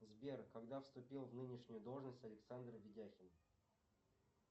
сбер когда вступил в нынешнюю должность александр ведяхин